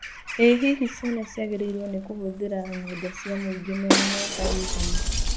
ĩ hihi ciana ciagĩrĩirwo nĩ kũhũthĩra nyenda cia mũingĩ mena mĩaka ĩigana?